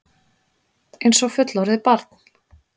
Einsog fullorðið barn.